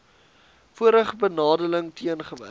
vorige benadeling teengewerk